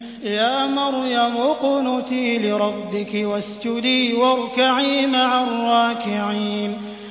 يَا مَرْيَمُ اقْنُتِي لِرَبِّكِ وَاسْجُدِي وَارْكَعِي مَعَ الرَّاكِعِينَ